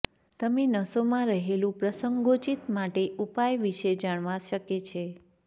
તમે નસોમાં રહેલું પ્રસંગોચિત માટે ઉપાય વિશે જાણવા શકે છે